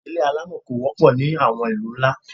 Ilé alámọ̀ kò wọ́pọ̀ ní àwọn ìlú ńlá.